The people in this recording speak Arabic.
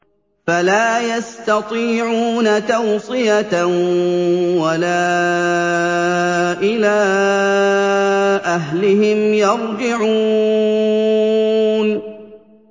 فَلَا يَسْتَطِيعُونَ تَوْصِيَةً وَلَا إِلَىٰ أَهْلِهِمْ يَرْجِعُونَ